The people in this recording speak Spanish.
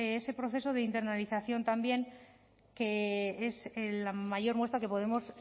ese proceso de internalización también que es la mayor muestra que podemos